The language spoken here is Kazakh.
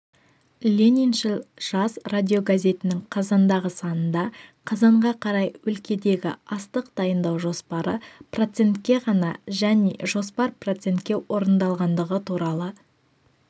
лениншіл жас радиогазетінің қазандағы санында қазанға қарай өлкедегі астық дайындау жоспары процентке ғана және жоспар процентке орындалғандығы туралы